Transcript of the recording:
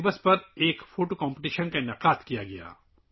اس بار مصر میں یوگا ڈے پر تصویری مقابلے کا انعقاد کیا گیا